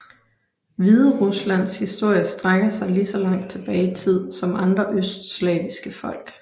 Hvideruslands historie strækker sig lige så langt tilbage i tid som andre østslaviske folk